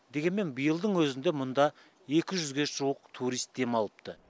дегенмен биылдың өзінде мұнда екі жүзге жуық турист демалыпты